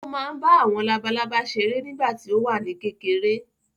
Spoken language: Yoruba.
Ó máa ń bá àwọn labalábá seré nígbà tí ó wà ní kékeré